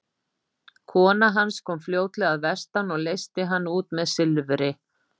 Kona hans kom fljótlega að vestan og leysti hann út með silfri.